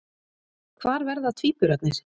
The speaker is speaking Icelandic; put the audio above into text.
Hvar verða tvíburarnir?